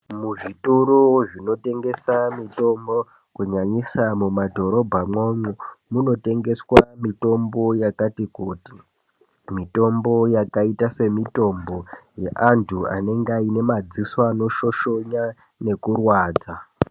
Muzvitoro zvinotengese mitombo kunyanyisa muma dhorobha mwoumwo munotengeswa mitombo yakati kuti mitombo yakaita semitombo yeantu anonge aine madziso anoshoshonya nekurwadza.